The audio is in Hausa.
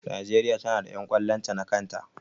Najeriya ta na da ƴan ƙwallon ta na kan ta